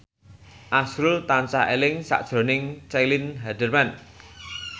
azrul tansah eling sakjroning Caitlin Halderman